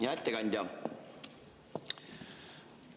Hea ettekandja!